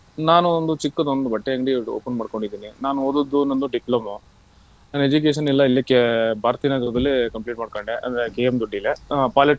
ನಾನು ಒಂದು ಚಿಕ್ಕದೊಂದು ಬಟ್ಟೆ ಅಂಗಡಿ open ಮಾಡಕೊಂಡಿದೀನಿ. ನಾನು ಓದಿದ್ದು ನಂದು diploma ನನ್ನ education ಎಲ್ಲ ಇಲ್ಲೇ Bharathinagar ದಲ್ಲೇ complete ಮಾಡ್ಕಂಡೆ ಅಂದ್ರೆ KM Doddi ಅಹ್ polytechnic .